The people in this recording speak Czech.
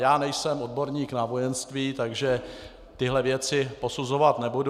Já nejsem odborník na vojenství, takže tyto věci posuzovat nebudu.